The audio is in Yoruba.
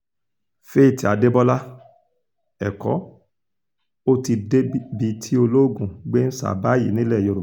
faith adébọlá ẹ̀kọ́ ó ti débi tí olóògùn gbé ń sá a báyìí nílẹ̀ yorùbá